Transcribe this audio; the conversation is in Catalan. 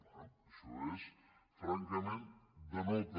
bé això és francament de nota